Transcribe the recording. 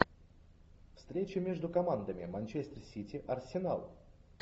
встреча между командами манчестер сити арсенал